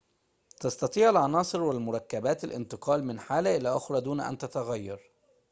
تستطيع العناصر والمركبات الانتقال من حالة إلى أخرى دون أن تتغير